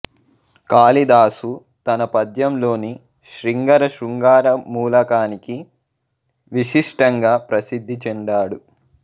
కాళిదాసు తన పద్యంలోని శ్రింగర శృంగార మూలకానికి విశిష్టంగా ప్రసిద్ది చెందాడు